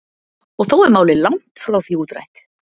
og þó er málið langt frá því útrætt